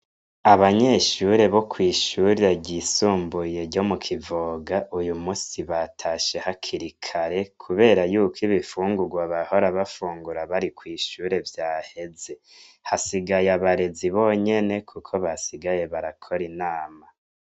Abanyeshuri bo kw'ishuri ryisumbuye ryo mu Kivoga, uyu munsi batashe hakiri kare kubera yuko ibifungurwa bahora bafungura bari kw'ishuri vyaheze. Hasigaye abarezi bonyene, kuko basigaye barakora inama.